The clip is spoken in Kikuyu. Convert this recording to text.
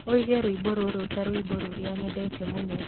ũige rwĩmbo rũrũ ta rwĩmbo rũrĩa nyendete mũno